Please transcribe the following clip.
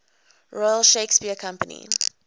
royal shakespeare company